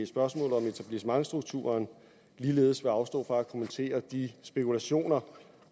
spørgsmålet om etablissementsstrukturen ligeledes vil afstå fra at kommentere de spekulationer